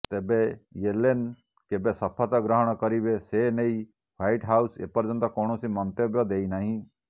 ତେବେ ୟେଲେନ କେବେ ଶପଥ ଗ୍ରହଣ କରିବେ ସେନେଇ ହ୍ବାଇଟ୍ ହାଉସ ଏପର୍ଯ୍ୟନ୍ତ କୌଣସି ମନ୍ତବ୍ୟ ଦେଇନାହିଁ